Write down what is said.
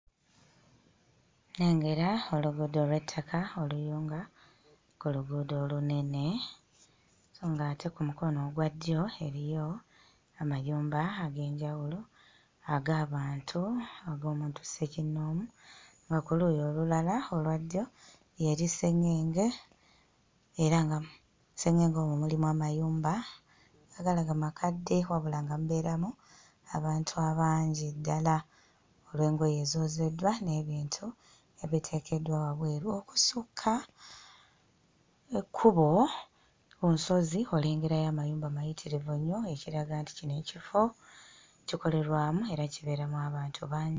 Nnengera oluguudo olw'ettaka oluyunga ku luguudo olunene so ng'ate ku mukono ogwa ddyo eriyo amayumba ag'enjawulo ag'abantu ag'omuntu ssekinnoomu nga ku luuyi olulala olwa ddyo y'eri sseŋŋenge era nga mu sseŋŋenge omwo mulimu amayumba nga galaga makadde wabula nga mubeeramu abantu abangi ddala olw'engoye ezoozeddwa n'ebintu ebiteekeddwa wabweru. Okusukka ekkubo ku lusozi olengerayo amayumba mayitirivu nnyo, ekiraga nti kino ekifo kikolerwamu era kibeeramu abantu bangi.